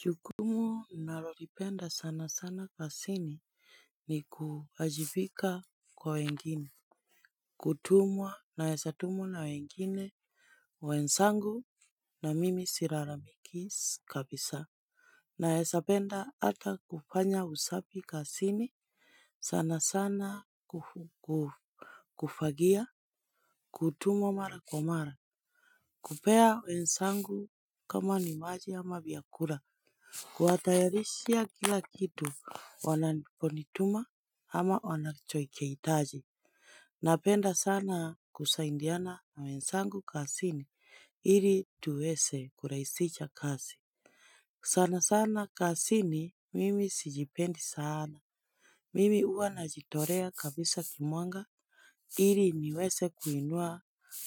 Chukumu nalolipenda sana sana kasini ni kuajibika kwa wengine. Kutumwa naesa tumwa na wengine wensangu na mimi sirara miki kabisa. Naesapenda ata kufanya usapi kasini sana sana kufagia. Kutumwa mara kwa mara. Kupea wensangu kama ni maji ama vyakura. Kuatayarishia kila kitu wanaponituma ama wanachoi kiitaji. Napenda sana kusaindiana na wensangu kasini ili tuwese kuraisisha kasi. Sana sana kasini mimi sijipendi sana. Mimi ua najitorea kabisa kimwanga iri niweze kuinua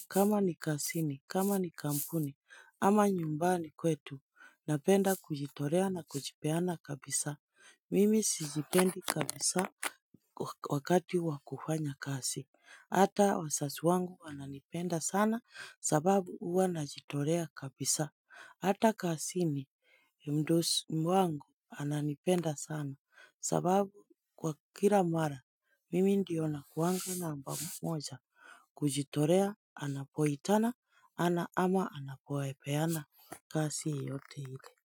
kama ni kasini, kama ni kampuni, ama nyumbani kwetu, napenda kujitorea na kujipeana kabisa. Mimi sijipendi kabisa wakati wakufanya kasi. Hata wasasi wangu wananipenda sana napapau huwa najitolea kapisa. Hata kasini mdosi wangu ananipenda sana sababu kwa kila mara mimi ndiyo na kuanga namba mmoja kujitorea anapoytana ana ama anapoepeana kasi yote hile.